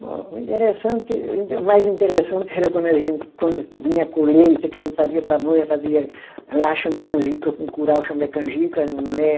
Bom, o interessante, o inte, o mais interessante era quando a gente, quando vinha a colheita, que a gente fazia pamonha, fazia lá chama canjica, com curau chama é canjica, né?